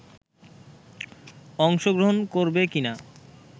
অংশ গ্রহণ করবে কি না